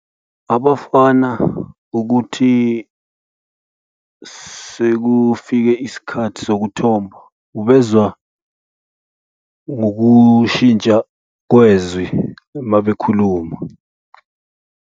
Abafana ukuthi sekufike isikhathi sokuthomba ubezwa ngokushintsha kwezwi uma bekhuluma.